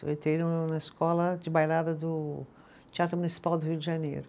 Eu entrei no na escola de bailada do Teatro Municipal do Rio de Janeiro.